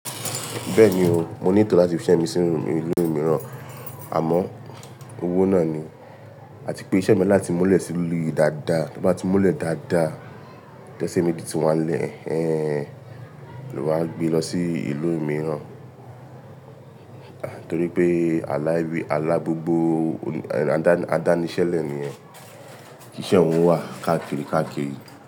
Bẹ́ẹ̀ni o, mo ní etọ̀ láti fi iṣẹ́ mi sí ìlú mìíràn, àmọ́ owó náà ni. A ti pé iṣẹ́ mi láti múlẹ̀ sí ìlú yìí dáadáa, tó bá ti múlẹ̀ dáadáa, tẹ́sẹ̀ mi de ti wá n lè, ẹ́hẹn, ló máa gbe lọ sí ìlú mìíràn. Torí pé alá gbogbo, adáníṣẹ́lẹ̀ ni yen, kì íṣẹ̀ oun wà káàkiri káàkiri.